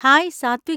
Hi Satwik!